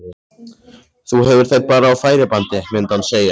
Þú hefur þær bara á færibandi, myndi hann segja.